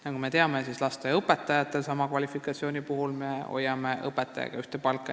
Nagu teada on, hoiame me sama kvalifikatsiooniga lasteaiaõpetajatel ja õpetajatel ühte palka.